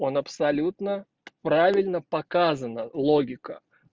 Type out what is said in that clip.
он абсолютно правильно показано логика